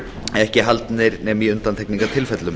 ekki haldnir nema í undantekningartilvikum